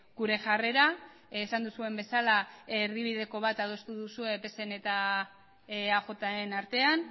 gure jarrera esan duzuen bezala erdibideko bat adostu duzue pseren eta eajren artean